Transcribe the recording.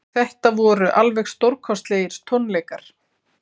Þetta voru alveg stórkostlegir tónleikar